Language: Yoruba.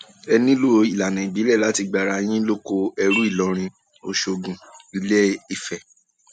ẹ nílò ìlànà ìbílẹ láti gba ara ara yín lóko ẹrú ìlọrin ọṣọgun iléìfẹ